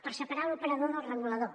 per separar l’operador del regulador